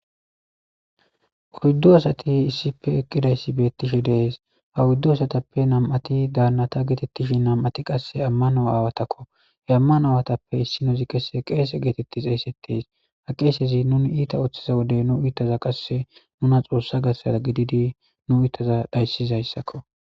hoyddu asati issife eqqidayssi beettishe dees ha wuddu asatappe nam7ati daannata geetettishi nam7ati qasse ammano aawatakko he ammano aawatappe issinozi qese qeese geetetti eeyssetteys ha qeesezi nuni iita oththiza wode nu iittaza qasse nuna xoossa gassada gididi nu iitaza dhayssizayssakko